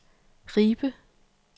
Ribe